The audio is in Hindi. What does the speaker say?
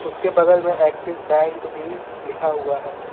उसके बगल मे एक्सीस बैंक भी लिखा हुआ है।